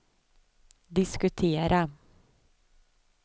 diskutera